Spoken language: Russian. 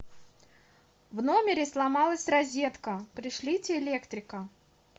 в номере сломалась розетка пришлите электрика